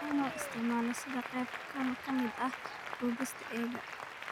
In loo isticmaalo sida qayb ka mid ah dubista keega.